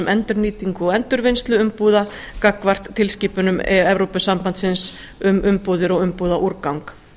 endurnýtingu og endurvinnslu umbúða gagnvart tilskipunum evrópusambandsins um umbúðir og umbúðaúrgang